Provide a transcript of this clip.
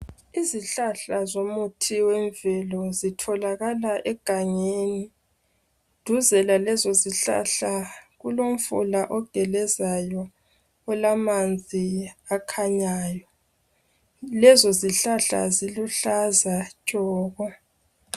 Izihlahla zomuthi wemvelo zitholakala egangeni. Duze lalezo zihlahla kulomfula ogelezayo olamanzi akhanyayo. Lezo zihlahla ziluhlaza tshoko .